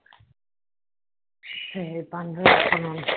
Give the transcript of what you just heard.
சரி பண்றன்னு சொன்னாங்க